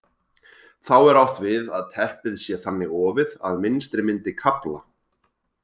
Þá er átt við að teppið sé þannig ofið að mynstrið myndi kafla.